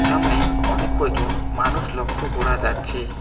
সামনে অনেক কয়জন মানুষ লক্ষ করা যাচ্ছে।